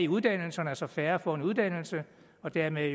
uddannelserne så færre får en uddannelse og dermed